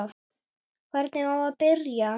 Hvernig á að byrja?